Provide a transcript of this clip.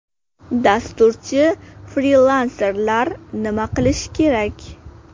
Dasturchi-frilanserlar nima qilishi kerak?